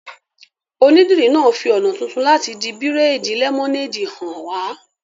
Onídìrí náà fi ọ̀nà tuntun láti di bírèèdì lẹ́mọ́néèdì hàn wá